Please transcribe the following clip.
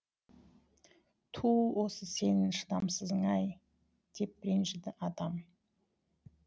ту осы сенің шыдамсызың ай деп ренжіді атам